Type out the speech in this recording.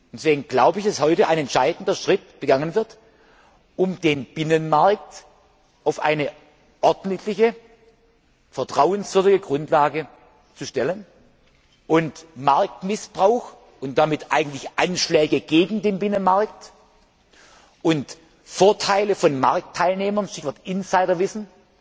Deswegen glaube ich, dass heute ein entscheidender Schritt getan wird, um den Binnenmarkt auf eine ordentliche, vertrauenswürdige Grundlage zu stellen und Marktmissbrauch und damit eigentlich Anschläge gegen den Binnenmarkt und Vorteile von Marktteilnehmern Stichwort Insiderwissen